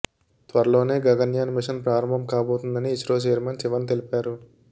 త్వరలోనే గగన్యాన్ మిషన్ ప్రారంభం కాబోతోందని ఇస్రో ఛైర్మన్ శివన్ తెలిపారు